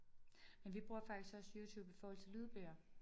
Men vi bruger faktisk også YouTube i forhold til lydbøger